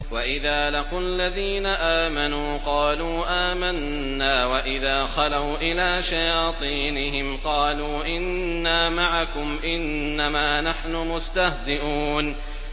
وَإِذَا لَقُوا الَّذِينَ آمَنُوا قَالُوا آمَنَّا وَإِذَا خَلَوْا إِلَىٰ شَيَاطِينِهِمْ قَالُوا إِنَّا مَعَكُمْ إِنَّمَا نَحْنُ مُسْتَهْزِئُونَ